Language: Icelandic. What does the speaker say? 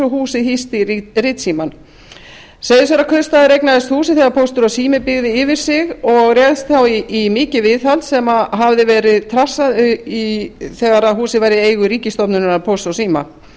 húsið hýsti ritsímann seyðisfjarðarkaupstaður eignaðist húsið þegar póstur og sími byggði yfir sig og réðst þá í mikið viðhald sem hafði gerð trassað þegar húsið var í eigu ríkisstofnunarinnar pósts og síma